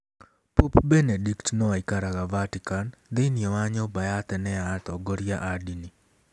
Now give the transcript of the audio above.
Pope Benedict no aikaraga Vatican thĩinĩ wa nyũmba ya tene ya atongoria a ndini.